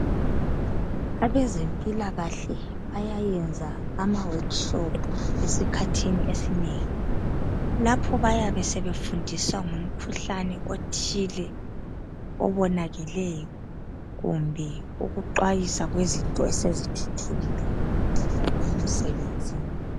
Abezempilakahle bayayenza ama workshop esikhathini esinengi .Lapho bayabe sebe fundisa ngomkhuhlane othile obonakeleyo kumbe ukuxwayisa kwezinto esezithuthukile ngokwe msebenzini.